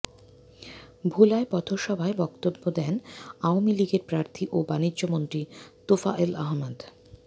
ভোলায় পথসভায় বক্তব্য দেন আওয়ামী লীগের প্রার্থী ও বাণিজ্যমন্ত্রী তোফায়েল আহমেদ